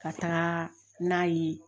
Ka taa n'a ye